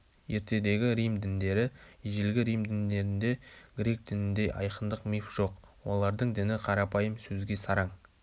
ертедегі рим діндері ежелгі рим діндерінде грек дініндей айқындық миф жоқ олардың діні қарапайым сөзге сараң